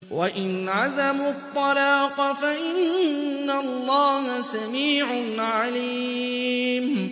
وَإِنْ عَزَمُوا الطَّلَاقَ فَإِنَّ اللَّهَ سَمِيعٌ عَلِيمٌ